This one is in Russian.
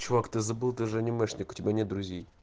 чувак ты забыл ты же анимешника тебя нет друзей